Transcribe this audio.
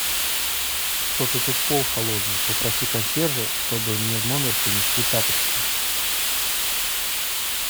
что то тут пол холодный попроси консьержа чтобы мне в номер принесли тапочки